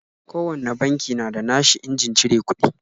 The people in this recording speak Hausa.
Kowane banki na da na shi injin cire kuɗi